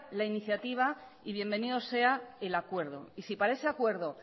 la iniciativa y bienvenido sea el acuerdo y si para ese acuerdo